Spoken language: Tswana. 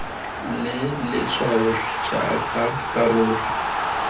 le letshwao r jaaka karolo